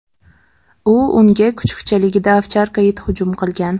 U unga kuchukchaligida ovcharka it hujum qilgan.